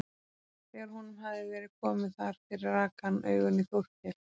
Þegar honum hafði verið komið þar fyrir rak hann augun í Þórkel.